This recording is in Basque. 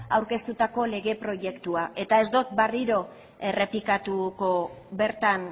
aurkeztutako lege proiektua eta ez dut berriro errepikatuko bertan